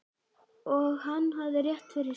Og hann hafði rétt fyrir sér.